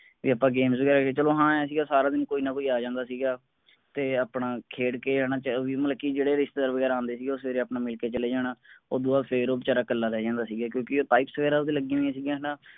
ਤੇ ਆਪਾਂ games ਵਗੈਰਾ ਚਲੋ ਹਾਂ ਇਹ ਸੀਗਾ ਸਾਰਾ ਦਿਨ ਕੋਈ ਨਾ ਕੋਈ ਆ ਜਾਂਦਾ ਸੀਗਾ ਤੇ ਆਪਣਾ ਖੇਡ ਕੇ ਹੈਨਾ ਓਹੀ ਮਤਲਬ ਕਿ ਜਿਹੜੇ ਰਿਸ਼ਤੇਦਾਰ ਵਗੈਰਾ ਆਂਦੇ ਸੀਗੇ ਉਹ ਸਵੇਰੇ ਆਪਣਾ ਮਿਲ ਕੇ ਚਲੇ ਜਾਣਾ ਓਦੋਂ ਬਾਅਦ ਫੇਰ ਉਹ ਬੇਚਾਰਾ ਕੱਲਾ ਰਹਿ ਜਾਂਦਾ ਸੀਗਾ ਕਿਉਂਕਿ ਉਹ pipes ਵਗੈਰਾ ਓਹਦੇ ਲੱਗੀ ਹੋਇਆਂ ਸਿਗੀਆਂ ਹੈਨਾ